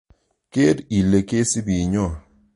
Ker ile kesipi nyo.